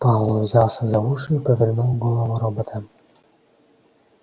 пауэлл взялся за уши и повернул голову робота